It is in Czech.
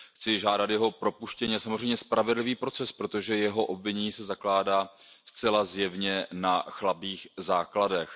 Chci žádat jeho propuštění a samozřejmě spravedlivý proces, protože jeho obvinění se zakládá zcela zjevně na chabých základech.